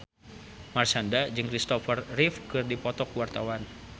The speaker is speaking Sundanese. Marshanda jeung Kristopher Reeve keur dipoto ku wartawan